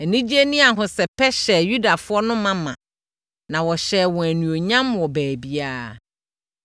Anigyeɛ ne ahosɛpɛ hyɛɛ Yudafoɔ no ma ma, na wɔhyɛɛ wɔn animuonyam wɔ baabiara.